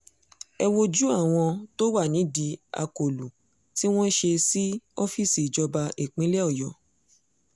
ẹ wojú àwọn tó wà nídìí akólú tí wọ́n ṣe sí ọ́fíìsì ìjọba ìpínlẹ̀ ọ̀yọ́